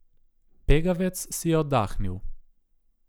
Pegavec si je oddahnil.